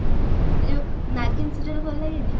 ଏଇ ଯଉ ନାଗିନ serial ଭଲ ଲାଗେନି?